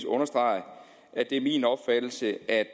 understrege at det er min opfattelse at